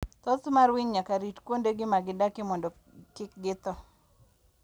Thoth winy nyaka rit kuondegi ma gidakie mondo kik githo.